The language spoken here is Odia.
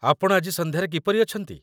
ଆପଣ ଆଜି ସନ୍ଧ୍ୟାରେ କିପରି ଅଛନ୍ତି?